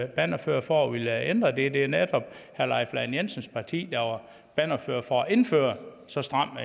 bannerfører for at ville ændre det det er netop herre leif lahn jensens parti der var bannerfører for at indføre så stramt